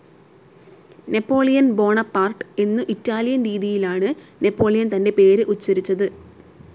Napoleon Bonaparte എന്നു Italian രീതിയിലാണ് Napoleon തൻ്റെ പേർ ഉച്ചരിച്ചത്.